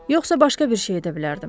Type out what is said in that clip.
Yoxsa başqa bir şey edə bilərdim.